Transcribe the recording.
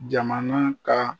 Jamana ka